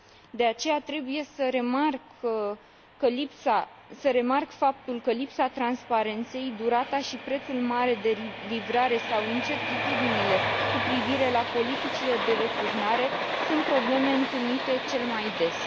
De aceea, trebuie să remarc faptul că lipsa transparenței, durata și prețul mare de livrare sau incertitudinile cu privire la politicile de returnare sunt probleme întâlnite cel mai des.